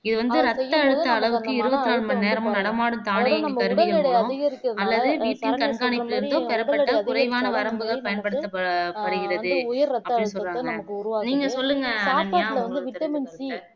இது வந்து ரத்த அழுத்த அளவுக்கு இருபத்து நாலு மணி நேரமும் நடமாடும் தானியங்கி கருவிகள் மூலம் அல்லது BP கண்காணிப்பிலிருந்து பெறப்பட்ட குறைவான வரம்புகள் பயன்படுத்தப்ப படுகிறது அப்பிடின்னு சொல்ராங்க நீங்க சொல்லுங்க அனன்யா உங்களோட கருத்த